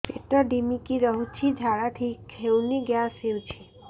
ପେଟ ଢିମିକି ରହୁଛି ଝାଡା ଠିକ୍ ହଉନି ଗ୍ୟାସ ହଉଚି